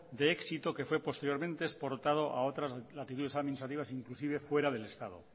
de éxito que fue posteriormente exportado a otras latitudes administrativas inclusive fuera del estado